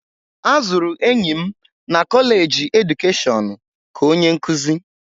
A zụrụ enyi m na kọleji edukeshọnụ ka onye nkuzi.